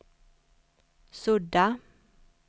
sudda